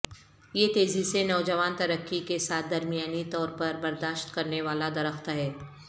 یہ تیزی سے نوجوان ترقی کے ساتھ درمیانی طور پر برداشت کرنے والا درخت ہے